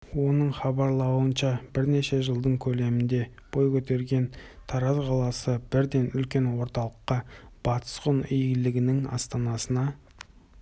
оның хабарлауынша бірнеше жылдың көлемінде бой көтерген тараз қаласы бірден үлкен орталыққа батыс ғұн иелігінің астанасына